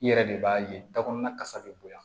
I yɛrɛ de b'a ye da kɔnɔna kasa bɛ bonya